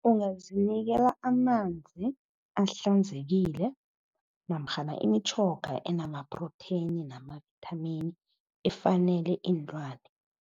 Ungazinikela amanzi ahlanzekile namkhana imitjhoga enamaprotheni namavithamini efanele iinlwane.